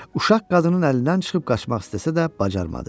Uşaq qadının əlindən çıxıb qaçmaq istəsə də, bacarmadı.